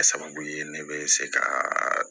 Kɛ sababu ye ne bɛ se ka